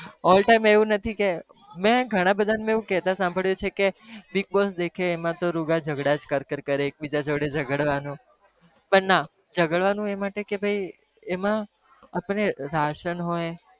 all time એવું નથી કે મેં ઘણા બધાને મેં એવું કહેતા સાંભળ્યું છે કે bigg boss દેખે એમાં તો રોગા ઝગડા જ કર કર કરે એક બીજા જોડે ઝગડવાનું પણ ના ઝગડવાનું એં માટે કે ભાઈ એમાં આપણ ને રાશન હોય,